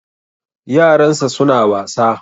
Yaran sa suna wasa